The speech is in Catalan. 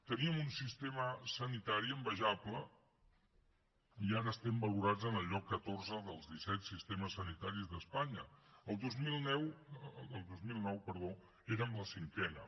teníem un sistema sanitari envejable i ara estem valorats en el lloc catorze dels disset sistemes sanitaris d’espanya el dos mil nou érem la cinquena